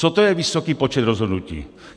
Co to je vysoký počet rozhodnutí?